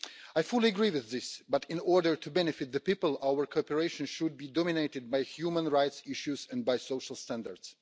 I fully agree with this but, in order to benefit the people, our cooperation should be dominated by human rights issues and social standards.